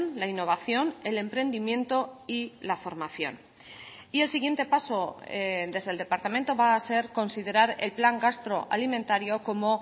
la innovación el emprendimiento y la formación y el siguiente paso desde el departamento va a ser considerar el plan gastroalimentario como